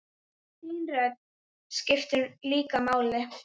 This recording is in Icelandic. Þín rödd skiptir líka máli.